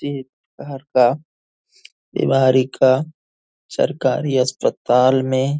ये बाहर का दीवारी का सरकारी अस्पताल में --